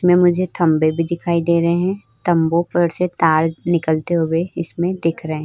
इसमे मुझे खंभे भी दिखाई दे रहे है। खंभों पर से तार निकलते हुए इसमें दिख रहे --